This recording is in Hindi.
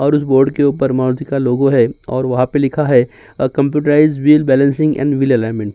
और बोर्ड के ऊपर मारुति का लोगो है और वहाँ पर लिखा है computerized wheel balance in alignment.